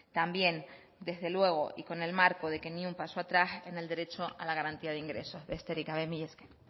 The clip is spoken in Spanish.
también desde luego y con el marco de que ni un paso atrás en el derecho a la garantía de ingresos besterik gabe mila esker